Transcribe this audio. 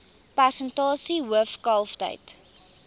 persentasie hoof kalftyd